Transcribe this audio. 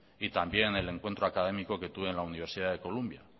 y también el encuentro académico que tuve en la universidad de columbia